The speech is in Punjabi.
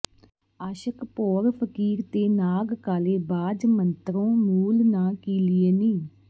ਆਸ਼ਕ ਭੌਰ ਫਕੀਰ ਤੇ ਨਾਗ ਕਾਲੇ ਬਾਝ ਮੰਤਰੋਂ ਮੂਲ ਨਾ ਕੀਲੀਏ ਨੀ